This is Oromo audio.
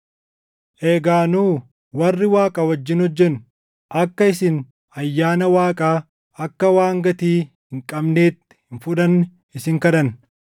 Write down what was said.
Egaa nu warri Waaqa wajjin hojjennu, akka isin ayyaana Waaqaa akka waan gatii hin qabneetti hin fudhanne isin kadhanna.